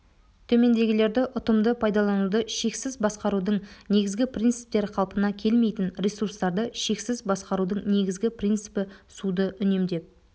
төмендегілерді ұтымды пайдалануды шексіз басқарудың негізгі принциптері қалпына келмейтін ресурстарды шексіз басқарудың негізгі принципі суды үнемдеп